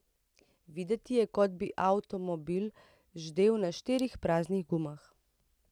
Videti je, kot bi avtomobil ždel na štirih praznih gumah.